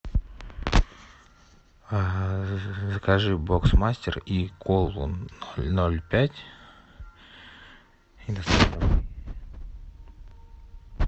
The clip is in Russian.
закажи бокс мастер и колу ноль пять